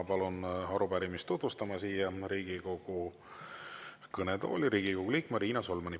Palun siia Riigikogu kõnetooli arupärimist tutvustama Riigikogu liikme Riina Solmani.